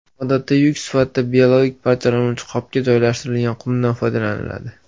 Odatda yuk sifatida biologik parchalanuvchi qopga joylashtirilgan qumdan foydalaniladi.